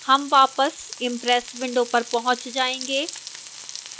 हम वापस impress window पर पहुंच जायेंगे